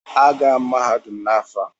Aga m agụpụta mahadum n'afọ a.